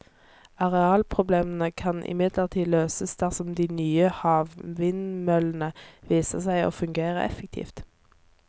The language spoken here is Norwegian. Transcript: Arealproblemene kan imidlertid løses dersom de nye havvindmøllene viser seg å fungere effektivt.